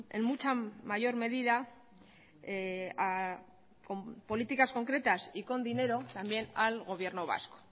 en mucha mayor medida con políticas concretas y con dinero también al gobierno vasco